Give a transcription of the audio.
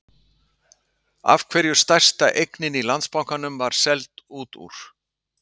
Af hverju stærsta eignin í Landsbankanum var seld út úr?